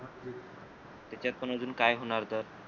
त्याच्यात पण अजून काय होणार तर